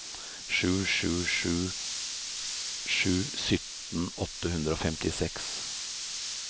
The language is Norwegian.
sju sju sju sju sytten åtte hundre og femtiseks